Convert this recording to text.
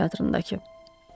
Opera teatrındakı.